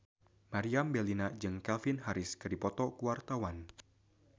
Meriam Bellina jeung Calvin Harris keur dipoto ku wartawan